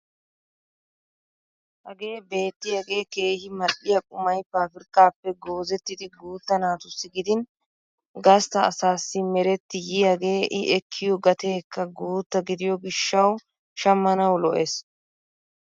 Hagee bettiyaagee keehi mall'iyaa qumay pabirkkaappe goozettiidi guutta naatussi gidin gastta asaasi meretti yiyaagee i ekkiyoo gateekka guutta gidiyoo gishshawu shammanawu lo"ees.